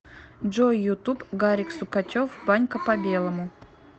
джой ютуб гарик сукачев банька по белому